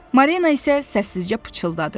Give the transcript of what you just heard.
Marina isə səssizcə pıçıldadı.